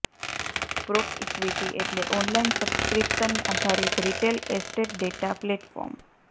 PropEquity એટલે online subscription આધારિત retail estate data platform